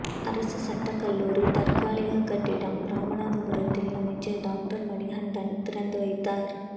அரசு சட்டக்கல்லூரி தற்காலிக கட்டிடம் ராமநாதபுரத்தில் அமைச்சர் டாக்டர் மணிகண்டன் திறந்து வைத்தார்